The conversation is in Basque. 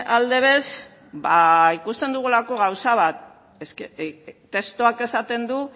alde bez ba ikusten dugulako gauza bat eske testuak esaten du